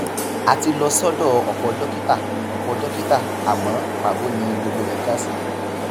a ti lọ sọdọ ọpọ dókítà ọpọ dókítà àmọ pàbó ni gbogbo rẹ já sí